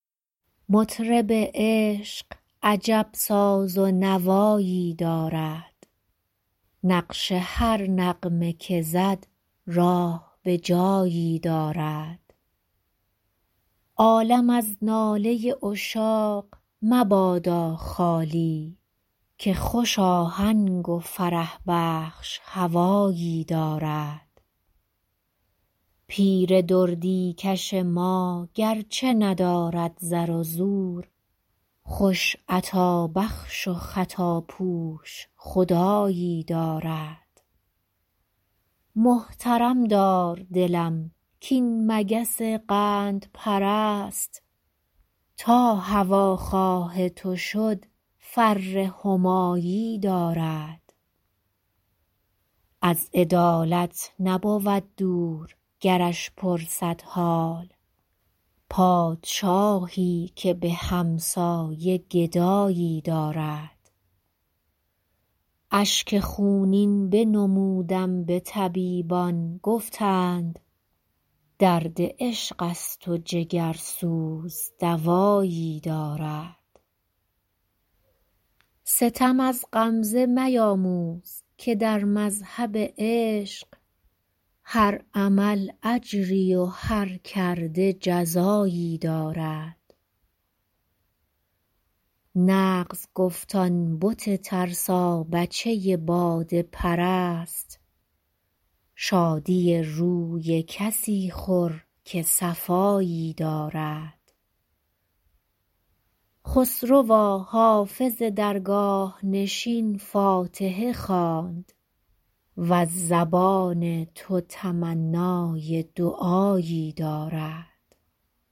مطرب عشق عجب ساز و نوایی دارد نقش هر نغمه که زد راه به جایی دارد عالم از ناله عشاق مبادا خالی که خوش آهنگ و فرح بخش هوایی دارد پیر دردی کش ما گرچه ندارد زر و زور خوش عطابخش و خطاپوش خدایی دارد محترم دار دلم کاین مگس قندپرست تا هواخواه تو شد فر همایی دارد از عدالت نبود دور گرش پرسد حال پادشاهی که به همسایه گدایی دارد اشک خونین بنمودم به طبیبان گفتند درد عشق است و جگرسوز دوایی دارد ستم از غمزه میاموز که در مذهب عشق هر عمل اجری و هر کرده جزایی دارد نغز گفت آن بت ترسابچه باده پرست شادی روی کسی خور که صفایی دارد خسروا حافظ درگاه نشین فاتحه خواند وز زبان تو تمنای دعایی دارد